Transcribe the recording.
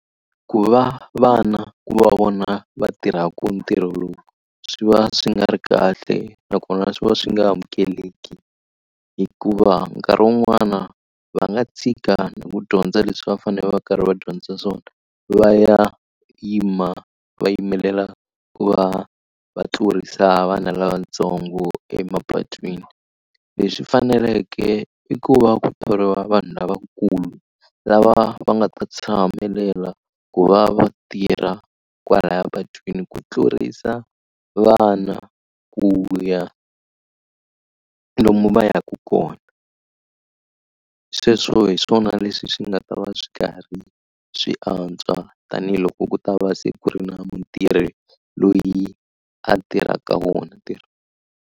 Ku va vana va vona va tirhaka ntirho lowu swi va swi nga ri kahle nakona swi va swi nga amukeleki hikuva nkarhi wun'wana va nga tshika ku dyondza leswi va fanele va karhi va dyondzisa swona va ya yima va yimelela ku va va tlurisa vana lavatsongo emapatwini. Leswi faneleke i ku va ku thoriwa vanhu lavankulu lava va nga ta tshamelela ku va va tirha kwalaya patwini ku tlurisa vana ku ya lomu va yaka kona. Sweswo hi swona leswi swi nga ta va swi karhi swi antswa tanihiloko ku ta va se ku ri na mutirhi loyi a tirhaka wona ntirho.